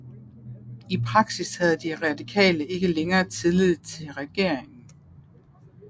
I praksis havde de Radikale ikke længere tillid til regeringen